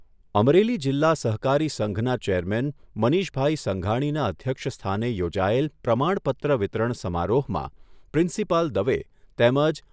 અમરેલી જીલ્લા સહકારી સંઘના ચેરમેન મનીષભાઈ સંઘાણીના અધ્યક્ષસ્થાને યોજાયેલ પ્રમાણપત્ર વિતરણ સમારોહમાં પ્રિન્સીપાલ દવે તેમજ